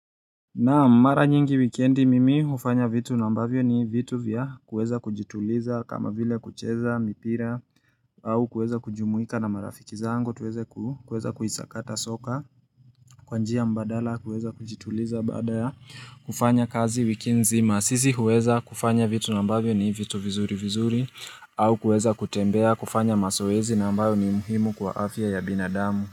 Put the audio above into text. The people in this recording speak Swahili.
Naam, mara nyingi wikendi mimi hufanya vitu ambavyo ni vitu vya kuweza kujituliza kama vile kucheza mpira, au kuweza kujumuika na marafiki zangu tuweze ku kuisakata soka Kwa njia mbadala kuweza kujituliza baada ya kufanya kazi wiki nzima sisi huweza kufanya vitu ambavyo ni vitu vizuri vizuri au kuweza kutembea kufanya mazowezi na ambayo ni muhimu kwa afya ya binadamu.